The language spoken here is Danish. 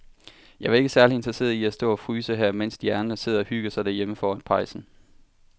Jeg er ikke særlig interesseret i at stå og fryse her, mens de andre sidder og hygger sig derhjemme foran pejsen.